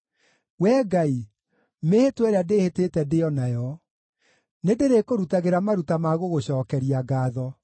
Wee Ngai, mĩĩhĩtwa ĩrĩa ndĩĩhĩtĩte ndĩ o nayo, nĩndĩrĩkũrutagĩra maruta ma gũgũcookeria ngaatho.